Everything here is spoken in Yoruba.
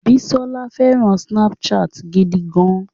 Bísọ́lá fẹràn Snapchat gidi gan.